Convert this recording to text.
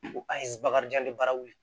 Ko a ye bakarijan ni bara wili